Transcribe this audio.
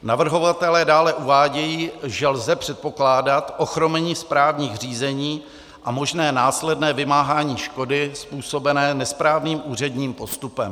Navrhovatelé dále uvádějí, že lze předpokládat ochromení správních řízení a možné následné vymáhání škody způsobené nesprávným úředním postupem.